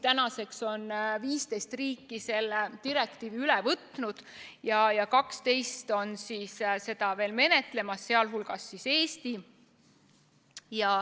Tänaseks on 15 riiki selle direktiivi üle võtnud ja 12 on seda veel menetlemas, sh Eesti.